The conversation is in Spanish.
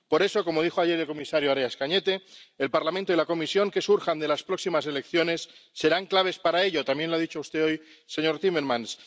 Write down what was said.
Por eso —como dijo ayer el comisario Arias Cañete—, el Parlamento y la Comisión que surjan de las próximas elecciones serán claves para ello —también lo ha dicho usted hoy, señor Timmermans—.